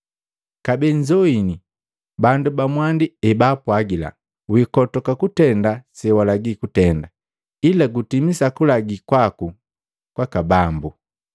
“Kabee nzoini bandu ba mwandi ebaapwagila, ‘Wikotoka kutenda sewalagila kutenda, ila gutimisa kulagi kwaku kwa Bambu.’